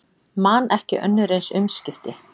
Man ekki önnur eins umskipti